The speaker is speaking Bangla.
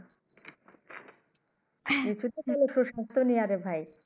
এটাত ভাল